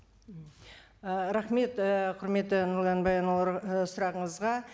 ііі рахмет ііі құрметті сұрағыңызға